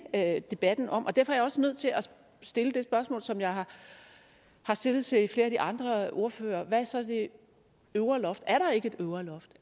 debatten om og derfor er jeg også nødt til at stille det spørgsmål som jeg har stillet til flere af de andre ordførere hvad er så det øvre loft er der ikke et øvre loft